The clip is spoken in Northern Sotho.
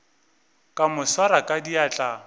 ka mo swara ka diatla